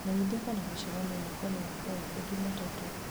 menyithia kana mĩcemanio yakwa nĩ ĩgakorwo kuo jumatatũ